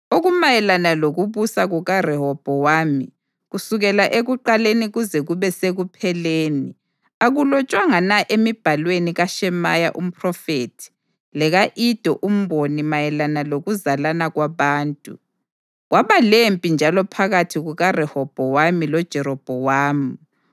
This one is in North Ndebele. Okumayelana lokubusa kukaRehobhowami, kusukela ekuqaleni kuze kube sekupheleni, akulotshwanga na emibhalweni kaShemaya umphrofethi leka-Ido umboni mayelana lokuzalana kwabantu? Kwaba lempi njalo phakathi kukaRehobhowami loJerobhowamu.